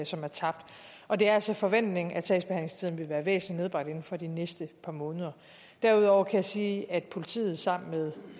som er tabt og det er altså forventningen at sagsbehandlingstiden vil være væsentlig nedbragt inden for de næste par måneder derudover kan jeg sige at politiet sammen med